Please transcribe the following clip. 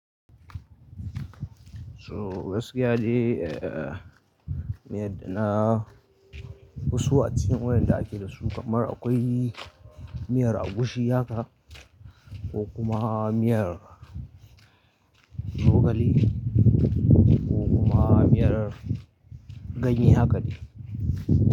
So gaskiya de, eh, miyar da na fi so a cikin waƴanda ake da su kamar akwai miyar agushi haka ko kuma miyar zogale ko kuma miyar ganye haka de.